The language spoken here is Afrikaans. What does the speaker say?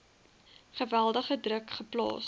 geweldige druk geplaas